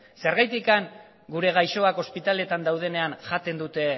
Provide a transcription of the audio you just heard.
zergatik gure gaixoak ospitaletan daudenean jaten dute